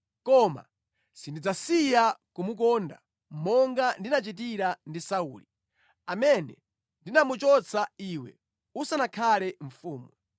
Koma sindidzasiya kumukonda, monga ndinachitira ndi Sauli, amene ndinamuchotsa iwe usanakhale mfumu.